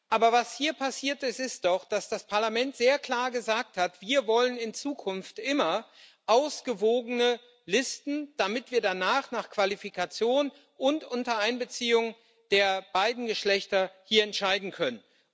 Aber was hier passiert ist, ist doch, dass das Parlament sehr klar gesagt hat Wir wollen in Zukunft immer ausgewogene Listen, damit wir danach nach Qualifikation und unter Einbeziehung der beiden Geschlechter hier entscheiden können.